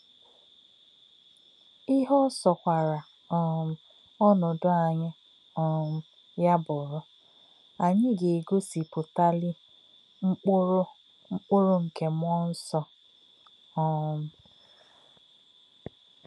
Íhè̄ ọ́ sọ̄kwà̄rà̄ um ọ̀nòdò̄ ànyí̄ um yá̄ bụ̀rú̄, ànyí̄ gā̄-ègọ̀sìpụ̀tà̄lí̄ mkpụ̀rụ́ mkpụ̀rụ́ nké̄ mmú̄ọ̄ nsọ̄. um